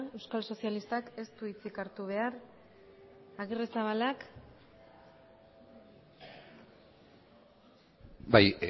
euskal sozialistak ez du hitzik hartu behar agirrezabalak bai